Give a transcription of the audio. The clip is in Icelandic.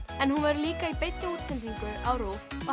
en hún verður líka í beinni útsendingu á RÚV og